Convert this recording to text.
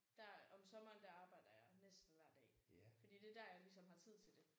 Der om sommeren der arbejder jeg næsten hver dag fordi det er der jeg ligesom har tid til det